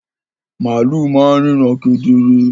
Màlú ma n ríran kedere